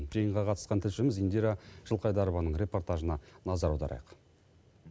жиынға қатысқан тілшіміз индира жылқайдарованың репортажына назар аударайық